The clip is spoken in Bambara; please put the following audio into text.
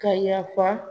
Ka yafa